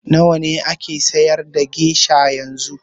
Nawa ake siyar da gesha yanzu?